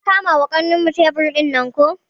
Mun kama wa kanmu tebur dinnan ko.